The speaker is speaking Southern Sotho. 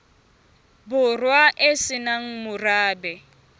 borwa e se nang morabe